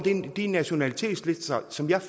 de nationalitetslister som jeg